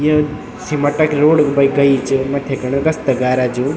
यो cement क road ब गयी च मथि खण रस्ता गारा जो।